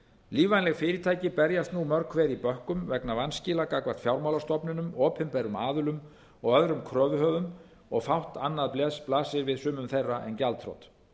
lífvænleg fyrirtæki berjast nú mörg hver í bökkum vegna vanskila gagnvart fjármálastofnunum opinberum aðilum og öðrum kröfuhöfum og fátt annað blasir við sumum þeirra en gjaldþrot